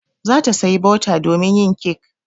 Za ta saya bota domin yin kek.